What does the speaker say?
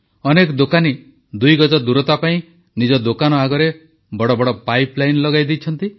ଅନେକ ଦୋକାନୀ ଦୁଇଗଜ ଦୂରତା ପାଇଁ ନିଜ ଦୋକାନ ଆଗରେ ବଡ଼ ବଡ଼ ପାଇପଲାଇନ୍ ଲଗାଇ ଦେଇଛନ୍ତି